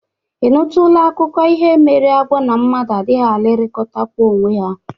Ị nụtụla akụkụ ihe mere agwọ na mmadụ adịghị alụrịkọtakwa onwe ha?